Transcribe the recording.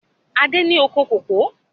Adé ni oko kòkó